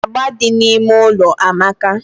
Agba di na ime ụlọ amaka